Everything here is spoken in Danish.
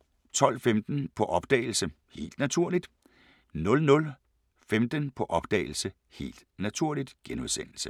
12:15: På opdagelse – Helt naturligt 00:15: På opdagelse – Helt naturligt *